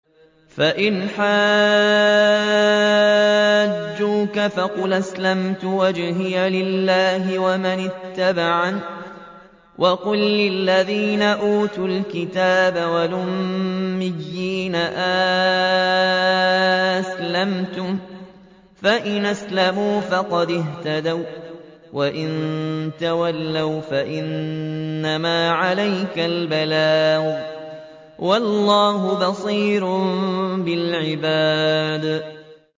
فَإِنْ حَاجُّوكَ فَقُلْ أَسْلَمْتُ وَجْهِيَ لِلَّهِ وَمَنِ اتَّبَعَنِ ۗ وَقُل لِّلَّذِينَ أُوتُوا الْكِتَابَ وَالْأُمِّيِّينَ أَأَسْلَمْتُمْ ۚ فَإِنْ أَسْلَمُوا فَقَدِ اهْتَدَوا ۖ وَّإِن تَوَلَّوْا فَإِنَّمَا عَلَيْكَ الْبَلَاغُ ۗ وَاللَّهُ بَصِيرٌ بِالْعِبَادِ